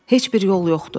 Heç bir yol yoxdur.